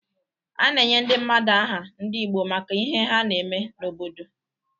A na-enye ndị mmadụ aha ndị Igbo maka ihe ha na-eme n’obodo.